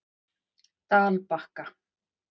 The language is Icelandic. Dalbakka